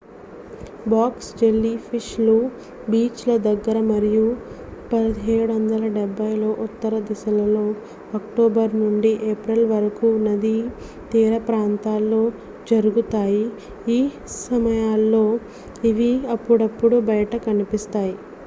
Box jellyfish లు beach ల దగ్గర మరియు 1770 లో ఉత్తర దిశలో అక్టోబరు నుండి ఏప్రిల్ వరకు నదీ తీరప్రాంతంలో జరుగుతాయి. ఈ సమయాల్లో ఇవి అప్పుడప్పుడు బయట కనిపిస్తాయి